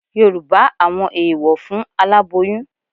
Yorùbá àwọn eèwọ̀ fún aláboyún